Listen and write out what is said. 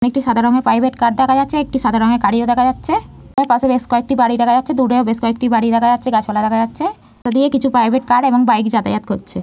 একটি সাদা রঙের প্রাইভেট কার দেখা যাচ্ছে। একটি সাদা রঙের গাড়িও দেখা যাচ্ছে। তার পাশে বেশ কয়েকটি বাড়ি দেখা যাচ্ছে। দূরেও বেশ কয়েকটি বাড়ি দেখা যাচ্ছে গাছপালা দেখা যাচ্ছে। রাস্তা দিয়ে কিছু প্রাইভেট কার এবং বাইক যাতায়াত করছে।